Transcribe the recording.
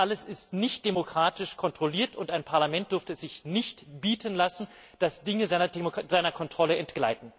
Das alles ist nicht demokratisch kontrolliert, und ein Parlament dürfte es sich nicht bieten lassen, dass Dinge seiner Kontrolle entgleiten.